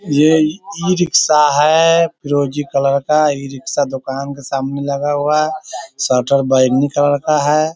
ये ई-रिक्शा है फिरोजी कलर का ई-रिक्शा दुकान के सामने लगा हुआ है शटर बैगनी कलर का है|